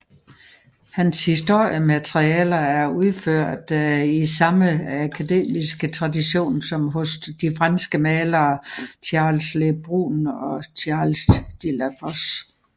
Hans historiemalerier er udført i samme akademiske tradition som hos de franske malere Charles Le Brun og Charles de Lafosse